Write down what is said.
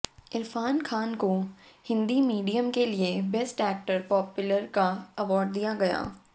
इरफान खान को हिंदी मीडियम के लिए बेस्ट एक्टर पॉपुलर का अवार्ड दिया गया